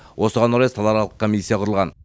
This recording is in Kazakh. осыған орай салааралық комиссия құрылған